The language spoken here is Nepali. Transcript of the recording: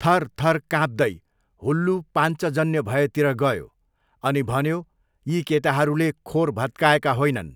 थरथर काँप्दै हुल्लू पाञ्चजन्य भएतिर गयो अनि भन्यो यी केटाहरूले खोर भत्काएका होइनन्।